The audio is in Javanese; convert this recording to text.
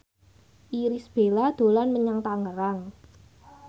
Irish Bella dolan menyang Tangerang